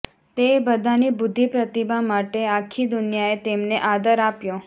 તે બધાની બુદ્ધિપ્રતિભા માટે આખી દુનિયાએ તેમને આદર આપ્યો